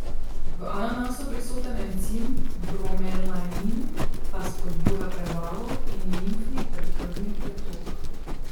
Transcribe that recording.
V ananasu prisoten encim bromelain pa spodbuja prebavo in limfni ter krvni pretok.